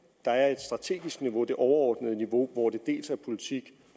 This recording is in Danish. der er et strategisk niveau det overordnede niveau hvor det dels er politik